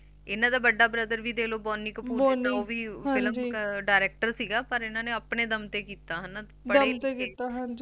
ਇਹਨਾ ਦਾ ਵੱਡਾ Brother ਵੀ ਦੇਖਲੋ Bonny Kapoor Director ਸੀਗਾ ਪਰ ਇਹਨਾਂ ਨੇ ਆਪਣੇ ਦਮ ਤੇ ਕੀਤਾ